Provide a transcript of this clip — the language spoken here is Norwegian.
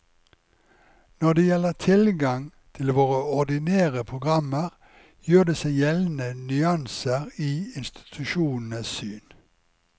Når det gjelder tilgang til våre ordinære programmer, gjør det seg gjeldende nyanser i institusjonenes syn.